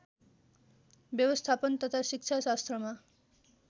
व्यवस्थापन तथा शिक्षाशास्त्रमा